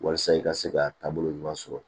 Walasa i ka se ka taabolo ɲuman sɔrɔ